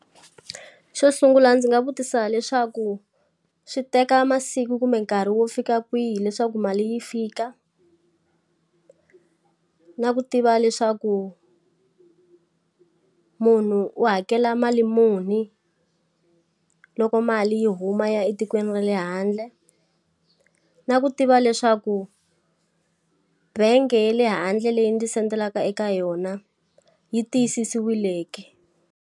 Xo sungula ndzi nga vutisa leswaku swi teka masiku kumbe nkarhi wo fika kwihi leswaku mali yi fika? na ku tiva leswaku munhu u hakela mali muni loko mali yi huma yi ya etikweni ra le handle? Na ku tiva leswaku bangi ya le handle leyi ndzi send-elaka eka yona, yi tiyisisiwile ke?